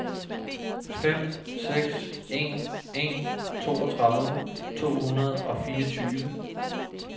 fem seks en en toogtredive to hundrede og fireogtyve